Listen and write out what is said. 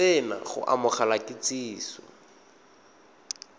se na go amogela kitsiso